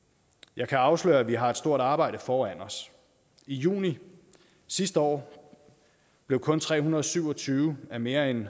jeg kan afsløre at vi har et stort arbejde foran os i juni sidste år blev kun tre hundrede og syv og tyve af mere end